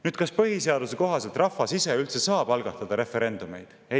Nüüd, kas põhiseaduse kohaselt rahvas ise üldse saab algatada referendumeid?